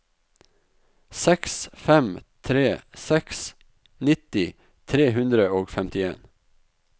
seks fem tre seks nitti tre hundre og femtien